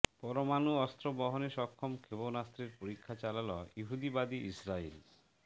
পরমাণু অস্ত্র বহনে সক্ষম ক্ষেপণাস্ত্রের পরীক্ষা চালাল ইহুদিবাদী ইসরাইল